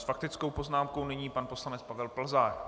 S faktickou poznámkou nyní pan poslanec Pavel Plzák.